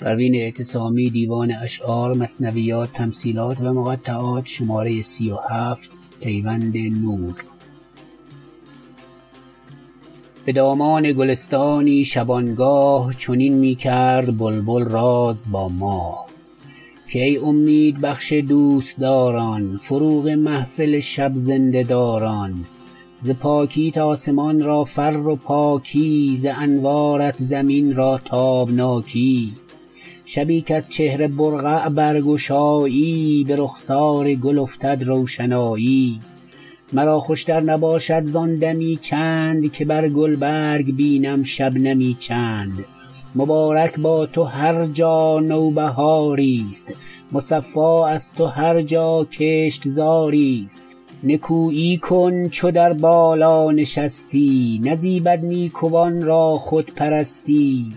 بدامان گلستانی شبانگاه چنین میکرد بلبل راز با ماه که ای امید بخش دوستداران فروغ محفل شب زنده داران ز پاکیت آسمان را فر و پاکی ز انوارت زمین را تابناکی شبی کز چهره برقع برگشایی برخسار گل افتد روشنایی مرا خوشتر نباشد زان دمی چند که بر گلبرگ بینم شبنمی چند مبارک با تو هر جا نوبهاریست مصفا از تو هر جا کشتزاری است نکویی کن چو در بالا نشستی نزیبد نیکوان را خودپرستی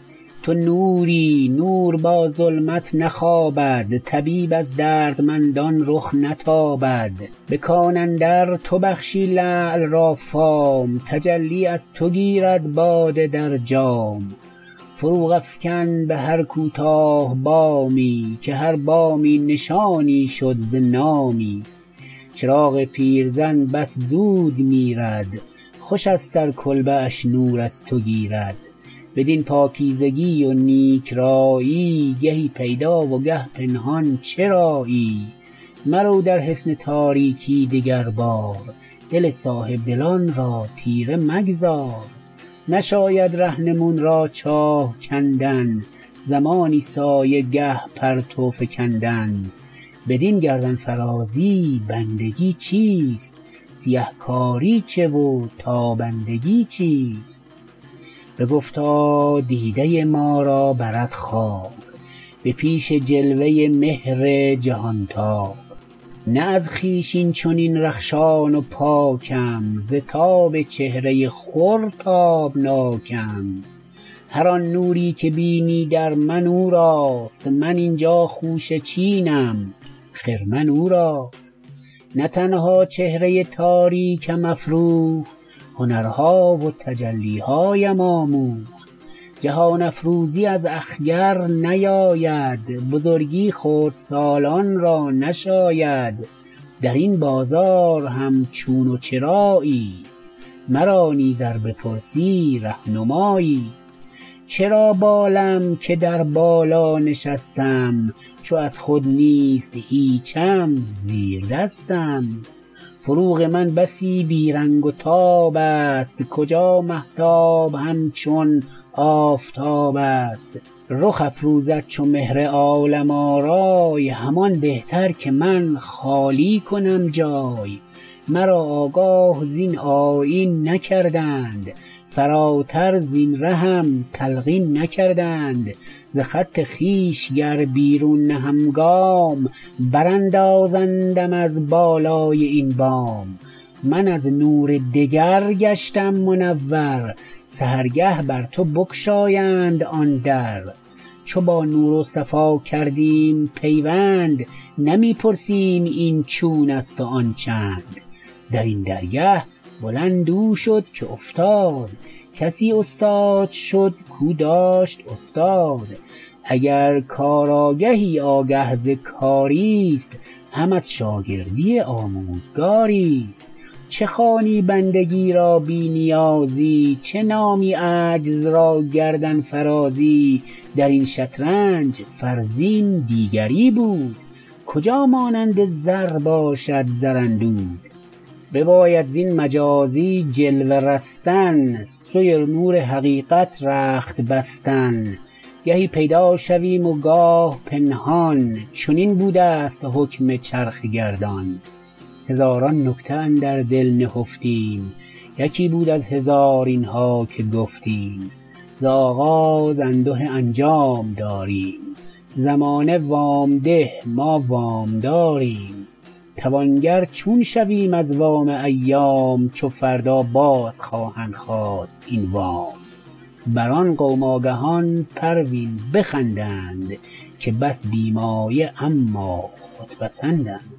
تو نوری نور با ظلمت نخوابد طبیب از دردمندان رخ نتابد بکان اندر تو بخشی لعل را فام تجلی از تو گیرد باده در جام فروغ افکن بهر کوتاه بامی که هر بامی نشانی شد ز نامی چراغ پیرزن بس زود میرد خوشست ار کلبه اش نور از تو گیرد بدین پاکیزگی و نیک رایی گهی پیدا و گه پنهان چرایی مرو در حصن تاریکی دگر بار دل صاحبدلان را تیره مگذار نشاید رهنمون را چاه کندن زمانی سایه گه پرتو فکندن بدین گردنفرازی بندگی چیست سیه کاری چه و تابندگی چیست بگفتا دیده ما را برد خواب به پیش جلوه مهر جهانتاب نه از خویش اینچنین رخشان و پاکم ز تاب چهره خور تابناکم هر آن نوری که بینی در من اوراست من اینجا خوشه چینم خرمن اوراست نه تنها چهره تاریکم افروخت هنرها و تجلیهایم آموخت جهان افروزی از اخگر نیاید بزرگی خردسالان را نشاید درین بازار هم چون و چراییست مرا نیز ار بپرسی رهنمایی است چرا بالم که در بالا نشستم چو از خود نیست هیچم زیردستم فروغ من بسی بیرنگ و تابست کجا مهتاب همچون آفتابست رخ افروزد چو مهر عالم آرای همان بهتر که من خالی کنم جای مرا آگاه زین آیین نکردند فراتر زین رهم تلقین نکردند ز خط خویش گر بیرون نهم گام براندازندم از بالای این بام من از نور دگر گشتم منور سحرگه بر تو بگشایند آن در چو با نور و صفا کردیم پیوند نمی پرسیم این چونست و آن چند درین درگه بلند او شد که افتاد کسی استاد شد کاو داشت استاد اگر کار آگهی آگه ز کاریست هم از شاگردی آموزگاریست چه خوانی بندگی را بی نیازی چه نامی عجز را گردنفرازی درین شطرنج فرزین دیگری بود کجا مانند زر باشد زراندود بباید زین مجازی جلوه رستن سوی نور حقیقت رخت بستن گهی پیدا شویم و گاه پنهان چنین بودست حکم چرخ گردان هزاران نکته اندر دل نهفتیم یکی بود از هزار اینها که گفتیم ز آغاز انده انجام داریم زمانه وام ده ما وامداریم توانگر چون شویم از وام ایام چو فردا باز خواهد خواست این وام بر آن قوم آگهان پروین بخندند که بس بی مایه اما خودپسندند